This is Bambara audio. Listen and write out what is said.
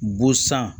Bosan